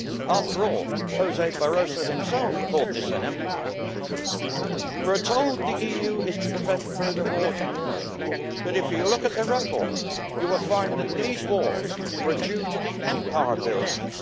After all, José Barroso himself called this an empire. We are told that the EU is to prevent further wars in Europe, but if you look at the record you will find that such wars were due to the empire builders.